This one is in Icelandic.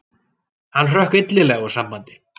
Hann hrökk illilega úr sambandi.